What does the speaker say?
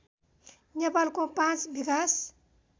नेपालको पाँच विकास